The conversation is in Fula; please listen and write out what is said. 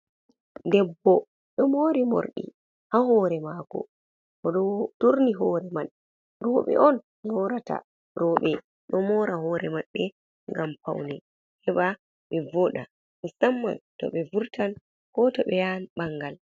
Debbo ɗo mori morɗi ha hore mako, oɗo turni hore man, roɓe on morata, roɓe ɗo mora hore maɓɓe ngam paune, heɓa ɓe voɗa musamman toh be vurtan ko to beyan bangal.